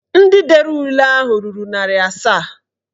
Ndị dere ule ahụ ruru narị asaa